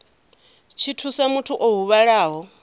tshi thusa muthu o huvhalaho